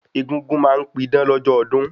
Egúngún ma n pidán lọ́jọ́ ọdún